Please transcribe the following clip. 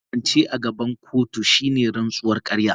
Kwance a gaban kotu shine rantsuwar ƙarya.